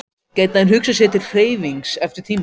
Gæti hann hugsað sér til hreyfings eftir tímabilið?